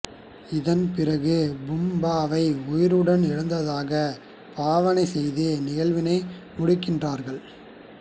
இதன் பிறகு பூம்பாவை உயிருடன் எழுந்ததாக பாவனை செய்து நிகழ்வினை முடிக்கின்றார்கள்